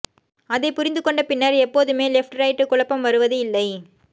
அதைப் புரிந்துகொண்ட பின்னர் எப்போதுமே லெஃப்ட் ரைட் குழப்பம் வருவது இல்லை